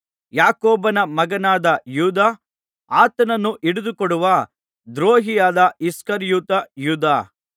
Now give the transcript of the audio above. ಯಾಕೋಬನ ಮಗನಾದ ಯೂದ ಆತನನ್ನು ಹಿಡಿದುಕೊಡುವ ದ್ರೋಹಿಯಾದ ಇಸ್ಕರಿಯೋತ ಯೂದ